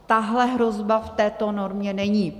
Tahle hrozba v této normě není.